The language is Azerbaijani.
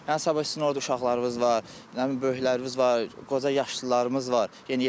Yəni sabah sizin orda uşaqlarınız var, nə bilim böyükləriniz var, qoca yaşlılarımız var, yeniyetmələr var.